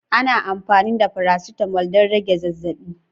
Ana amfani da faracetamol don rage zazzabi.